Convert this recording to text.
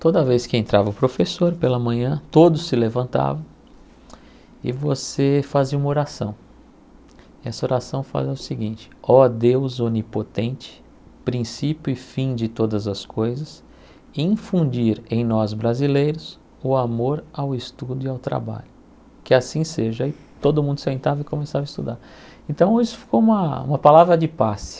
toda vez que entrava o professor pela manhã todos se levantavam e você fazia uma oração essa oração fala o seguinte ó Deus onipotente princípio e fim de todas as coisas infundir em nós brasileiros o amor ao estudo e ao trabalho que assim seja e todo mundo sentava e começava a estudar então isso ficou uma uma palavra de passe